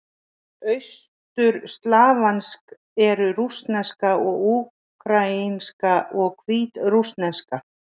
Austurslavnesk eru: rússneska, úkraínska og hvítrússneska.